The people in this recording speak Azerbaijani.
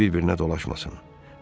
liflər bir-birinə dolaşmasın.